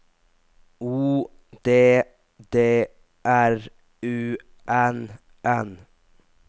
O D D R U N N